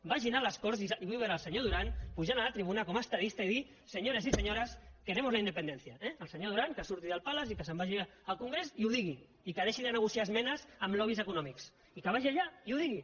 vagin a les corts i vull veure el senyor duran pujant a la tribuna com a estadista i dir señores y señoras queremos la independencia eh el senyor duran que surti del palace i que se’n vagi al congrés i ho digui i que deixi de negociar esmenes amb lobbys econòmics i que vagi allà i ho digui